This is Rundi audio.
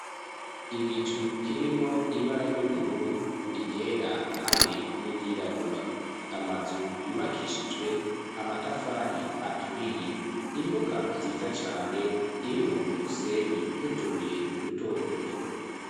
Igicu kirimwo ibara ry'ubururu, iryera, hamwe n'iryirabura, amazu yubakishijwe amatafari aturiye, imbuga nziza cane irimwo umusenyi nutubuye duto duto.